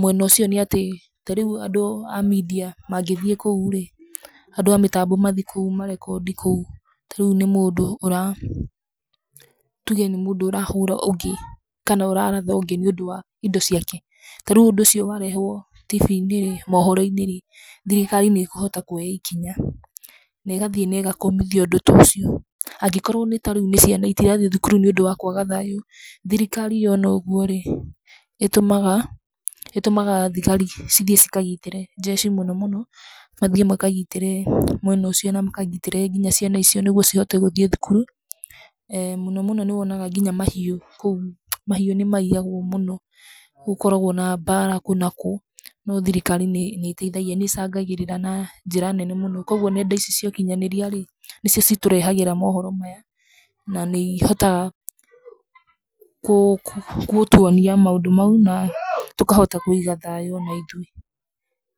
mwena ũcio nĩ atĩ, ta rĩu andũ a media mangĩthi kũu rĩ, andũ a mĩtambo mathiĩ kũu marekondi kũu ta rĩu nĩ mũndũ tuge nĩ mũndũ ũrahũra ũngĩ kana araratha ũngĩ nĩ ũndũ wa indo ciake, ta rĩu ũndũ ũcio warehũo tibi-inĩ kana mohoro-inĩ thirikari nĩ ĩkũhota kuoya ikinya na ĩgathi na ĩgakũmithia ũndũ ta ũcio. Angĩkorwo rĩu nĩ ciana itigathiĩ cukuru nĩ ũndũ wa kwaga thaayũ, thirikari yona ũguo rĩ, ĩtũmaga tigari ithiĩ ikagitĩre jeci mũno mũno mathiĩ makagitĩre mwena ũcio na makagitĩre nginya ciana icio nĩguo cihote gũthiĩ cukuru. Eeh mũno mũno nĩ wonaga nginya mahiũ kũu, mahiũ nĩ maiyagwo mũno. Nĩ gũkoragwo na mbara nginya kũ na kũ no thirikari nĩ icangagĩrĩra na njĩra nene mũno kwogũo nenda ici cia ũkinyanĩria nĩcio citũrehagĩra mohoro maya na nĩ ihotaga gũtuonia maũndũ mau tũkahota kũiga thaayũ ona ithuĩ.